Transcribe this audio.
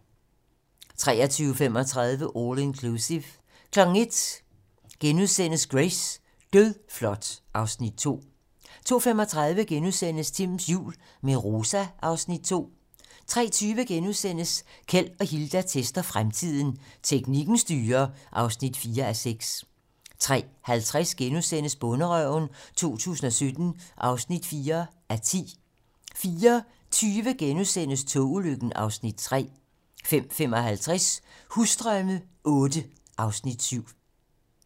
23:35: All Inclusive 01:00: Grace: Dødflot (Afs. 2)* 02:35: Timms jul - med Rosa (Afs. 2)* 03:20: Keld og Hilda tester fremtiden - Teknikken styrer (4:6)* 03:50: Bonderøven 2017 (4:10)* 04:20: Togulykken (Afs. 3)* 05:55: Husdrømme VIII (Afs. 7)